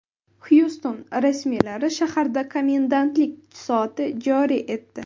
Xyuston rasmiylari shaharda komendantlik soati joriy etdi.